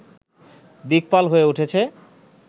দিকপাল হয়ে উঠেছে